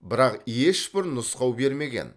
бірақ ешбір нұсқау бермеген